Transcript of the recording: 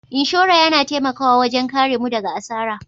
Inshora yana taimakawa wajen karemu daga asara.